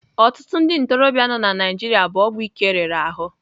Ọtụtụ ndị ntorobịa nọ na Naijiria bụ ọgwụ ike riri ahụ.